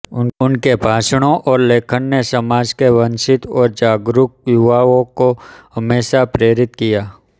उनके भाषणों और लेखन ने समाज के वंचित और जागरूक युवाओं को हमेशा प्रेरित किया